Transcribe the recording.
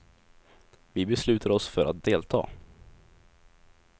Vi beslutar oss för att delta.